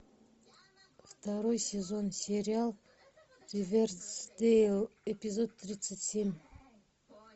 второй сезон сериал ривердейл эпизод тридцать семь